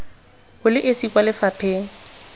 o le esi kwa lefapheng